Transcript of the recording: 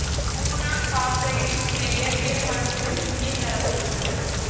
boron பாசுபைடின் சில இயற்பியல் பண்புகள் இங்கே தர பட்டுள்ளன